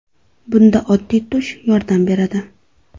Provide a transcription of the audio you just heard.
Bunda oddiy tush yordam beradi.